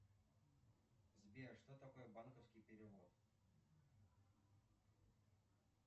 сбер что такое банковский перевод